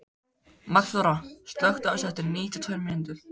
Magnþóra, slökktu á þessu eftir níutíu og tvær mínútur.